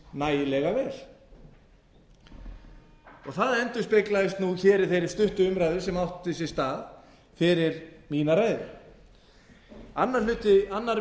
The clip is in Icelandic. nægilega vel það endurspeglaðist nú hér í þeirri stuttu umræðu sem átti sér stað fyrir mína ræðu annar